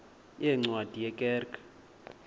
yeencwadi ye kerk